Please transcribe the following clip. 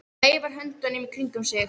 Hann veifar höndunum í kringum sig.